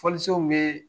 Fɔlisenw bɛ